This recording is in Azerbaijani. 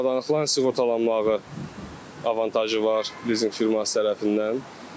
Avadanlıqların sığortalanmağı avantajı var lizinq firması tərəfindən.